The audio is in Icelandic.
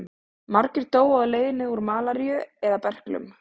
Margir dóu á leiðinni úr malaríu eða berklum.